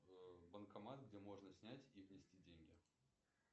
банкомат где можно снять и внести деньги